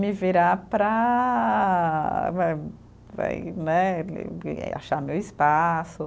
Me virar para, vai vai né, achar meu espaço.